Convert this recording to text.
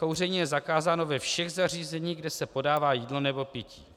Kouření je zakázáno ve všech zařízení, kde se podává jídlo nebo pití.